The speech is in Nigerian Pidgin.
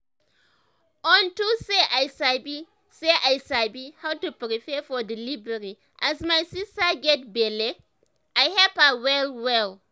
onto say i sabi say i sabi how to prepare for delivery as my sister get belle i help her well well